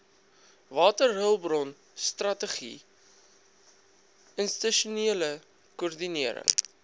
waterhulpbronstrategie institusionele koördinering